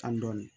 Tan dɔɔni